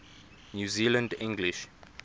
new zealand english